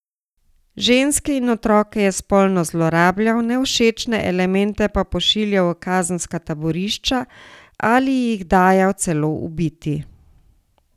Ženske in otroke je spolno zlorabljal, nevšečne elemente pa pošiljal v kazenska taborišča ali jih dajal celo ubiti.